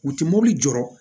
U ti mobili jɔɔrɔ